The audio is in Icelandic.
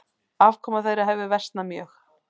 Afkoma þeirra hefur versnað mjög.